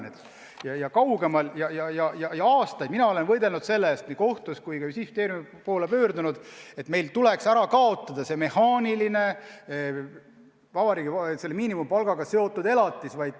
Mina olen võidelnud juba aastaid selle eest nii kohtus kui ka Justiitsministeeriumi poole pöördunud, et meil tuleks ära kaotada see mehaaniline miinimumpalgaga seotud elatis.